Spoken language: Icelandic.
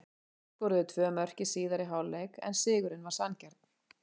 Haukar skoruðu tvö mörk í síðari hálfleik en sigurinn var sanngjarn.